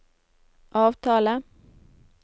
avtale